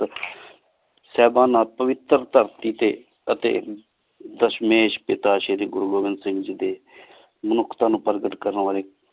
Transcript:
ਸਾਹੇਬਾਨਾ ਪਵਿਤਰ ਧਰਤੀ ਟੀ ਦਸ਼ ਮੇਸ਼ ਕੀਤਾ ਸ਼ੇਰੀ ਗੁਰੂ ਮੇਹ੍ਮੋੰ ਸਿੰਘ ਗੀ ਡੀ ਮੁਨੁਖ੍ਤਾਂ ਨੂ ਪਰ੍ਘਾਤ ਕਰਨ ਵਾਲੀ